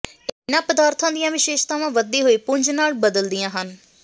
ਇਹਨਾਂ ਪਦਾਰਥਾਂ ਦੀਆਂ ਵਿਸ਼ੇਸ਼ਤਾਵਾਂ ਵਧਦੀ ਹੋਈ ਪੁੰਜ ਨਾਲ ਬਦਲਦੀਆਂ ਹਨ